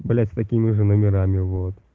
блять с такими же номерами вот